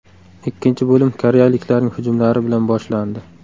Ikkinchi bo‘lim koreyaliklarning hujumlari bilan boshlandi.